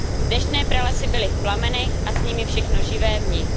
Deštné pralesy byly v plamenech a s nimi všechno živé v nich.